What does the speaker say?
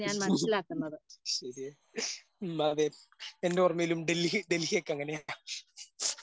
ശരിയാ ഉം അതെ എന്റെ ഓർമ്മയിലും ഡൽഹി ഡൽഹിയൊക്കെ അങ്ങനെയാ.